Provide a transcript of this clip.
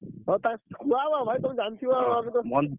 ହଁ ତାଙ୍କୁ କୁହାହବ ଭାଇ ତମେ ଜାଣିଥିବ।